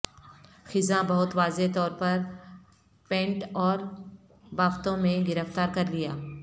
خزاں بہت واضح طور پر پینٹ اور بافتوں میں گرفتار کر لیا